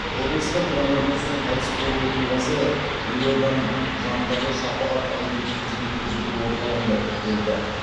облыста коронавирустен қайтыс болу оқиғасы елорданың жанындағы шапағат әлеуметтік қызмет көрсету орталығында тіркелді